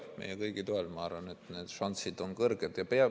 Meie kõigi toel, ma arvan, on need šansid kõrged.